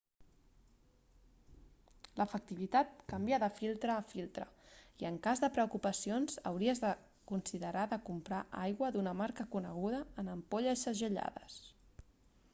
l'efectivitat canvia de filtre a filtre i en cas de preocupacions hauries de considerar de comprar aigua d'una marca coneguda en ampolles segellades